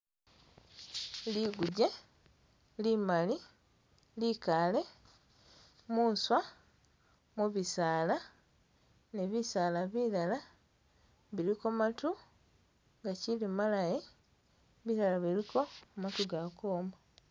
Liguje limali likale muswa mubisaala ne bisaala bilala bilko maatu gachili malayi bilala biliko maatu ga kwoma